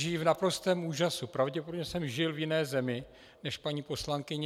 Žiji v naprostém úžasu, pravděpodobně jsem žil v jiné zemi než paní poslankyně.